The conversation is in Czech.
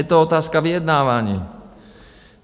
Je to otázka vyjednávání.